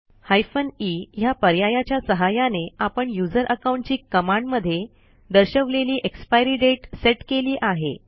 hyphen e ह्या पर्यायाच्या सहाय्याने आपण यूझर अकाउंटची कमांड मध्ये दर्शवलेली एक्सपायरी दाते सेट केली आहे